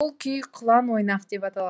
бұл күй құлан ойнақ деп аталады